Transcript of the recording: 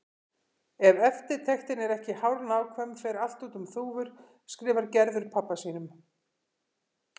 Ef eftirtektin er ekki hárnákvæm fer allt út um þúfur, skrifar Gerður pabba sínum.